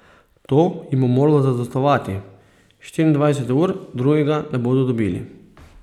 To jim bo moralo zadostovati, štiriindvajset ur drugega ne bodo dobili.